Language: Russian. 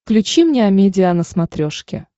включи мне амедиа на смотрешке